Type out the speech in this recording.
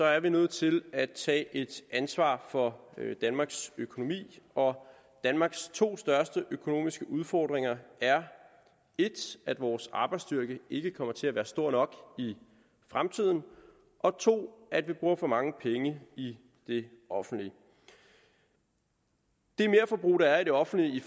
er vi nødt til at tage et ansvar for danmarks økonomi og danmarks to største økonomiske udfordringer er 1 at vores arbejdsstyrke ikke kommer til at være stor nok i fremtiden og 2 at vi bruger for mange penge i det offentlige det merforbrug der er i det offentlige i